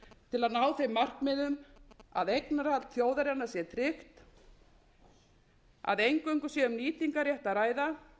til að ná þeim markmiðum að eignarhald þjóðarinnar sé tryggt að eingöngu sé um nýtingarrétt að ræða